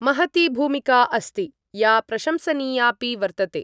महती भूमिका अस्ति, या प्रशंसनीयापि वर्तते।